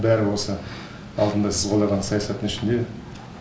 бәрі осы алдында сіз қалаған саясаттың ішінде